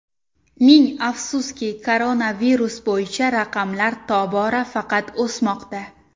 Ming afsuski, koronavirus bo‘yicha raqamlar tobora faqat o‘smoqda.